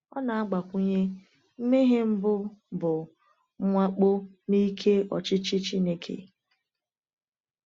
Ọ na-agbakwunye: “Mmehie mbụ bụ mwakpo n’ike ọchịchị Chineke.”